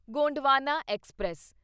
Gondwana express